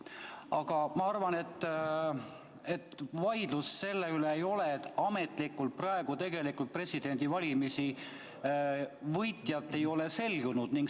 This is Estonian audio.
Aga ma arvan, et vaidlust selle üle ei ole, et ametlikult praegu tegelikult presidendivalimiste võitjat ei ole selgunud.